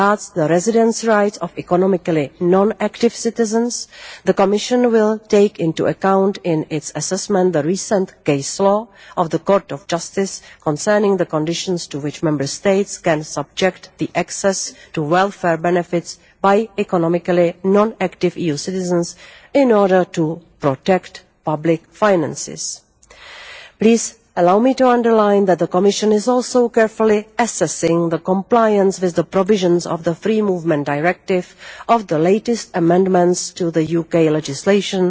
As regards the residence rights of economically non active citizens, the Commission will take into account in its assessment the recent case law of the Court of Justice concerning the conditions to which Member States can subject the access to welfare benefits by economically non active EU citizens in order to protect public finances. Please allow me to underline that the Commission is also carefully assessing the compliance with the provisions of the Free Movement Directive of the latest amendments to the UK legislation